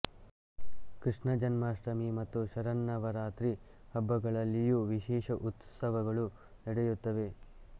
ಕೃಷ್ಣ ಜನ್ಮಾಷ್ಟಮಿ ಮತ್ತು ಶರನ್ನವರಾತ್ರಿ ಹಬ್ಬಗಳಲ್ಲಿಯೂ ವಿಶೇಷ ಉತ್ಸವಗಳು ನಡೆಯುತ್ತವೆ